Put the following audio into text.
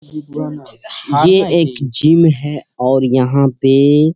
ये एक जिम है और यहां पे --